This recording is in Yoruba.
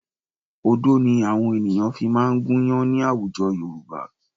Odó ni àwọn ènìyàn fi máa ń gúnyán ní àwùjọ Yorùbá